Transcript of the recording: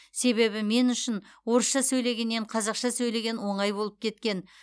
себебі мен үшін орысша сөйлегеннен қазақша сөйлеген оңай болып кеткен